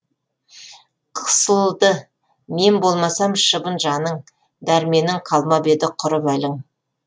қысылды мен болмасам шыбын жаның дәрменің қалмап еді құрып әлің